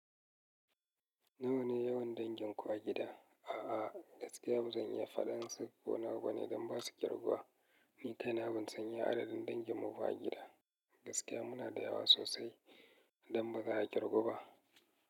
Nawa ne yawan danginku a gida? A'a, gaskiya ba zan iya faɗan su ko nawa bane don ba su ƙirguwa. Ni kaina ban san iya adadin danginmu ba a gida. Gaskiya muna da yawa sosai don ba za a ƙirgu ba.